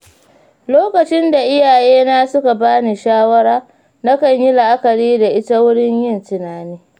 Lokacin da iyayena suka ba ni shawara, nakan yi la’akari da ita wurin yin tunani.